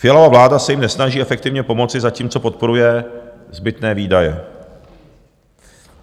Fialova vláda se jim nesnaží efektivně pomoci, zatímco podporuje zbytné výdaje.